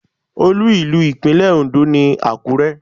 Olú ìlú Ìpínlẹ̀ Ondo ni Àkúrẹ́.